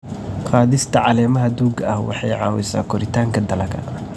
Qaadista caleemaha duugga ah waxay caawisaa koritaanka dalagga.